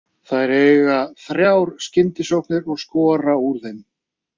Þær eiga þrjár skyndisóknir og skora úr þeim.